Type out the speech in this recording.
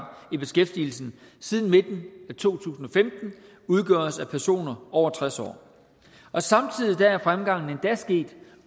i beskæftigelsen siden midten af to tusind og femten udgøres af personer over tres år og samtidig er fremgangen endda sket